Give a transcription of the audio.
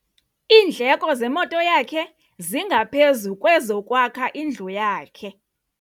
Iindleko zemoto yakhe zingaphezu kwezokwakha indlu yakhe.